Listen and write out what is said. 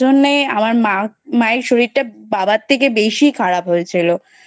সেই কারণে আমার মাএর শরীরটা বাবার থেকে বেশি খারাপ হয়েছিল ।